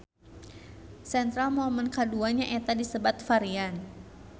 Central momen kadua nyaeta disebat varian